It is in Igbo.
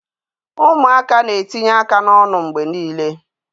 Ụmụaka na-etinye aka n'ọnụ mgbe niile